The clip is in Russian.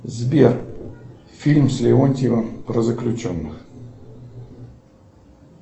сбер фильм с леонтьевым про заключенных